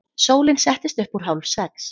Sólin settist upp úr hálfsex.